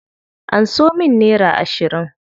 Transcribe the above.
Anso min nera ashirin.